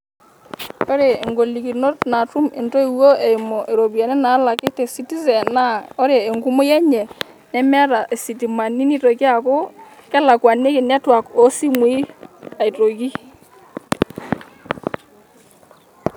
Ore ingolikinot naatum intoiwuo eimu iropiyiani naalaki te citizen naa ore enkumoki enye nemeeta isitimani nitoki aaku kelakuaniki network oosimui aitoki.